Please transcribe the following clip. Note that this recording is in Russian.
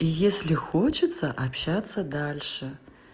если хочется общаться дальше